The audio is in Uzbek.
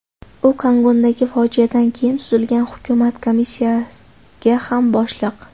U Kogondagi fojiadan keyin tuzilgan hukumat komissiyaga ham boshliq.